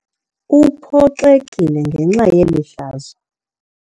Uphoxekile ngenxa yeli hlazo.